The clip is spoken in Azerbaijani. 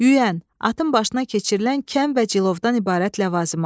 Yüyən, atın başına keçirilən kəm və cilovdan ibarət ləvazimat.